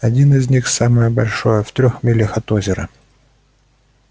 один из них самое большое в трёх милях от озера